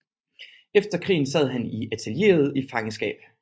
Efter krigen sad han i allieret fangenskab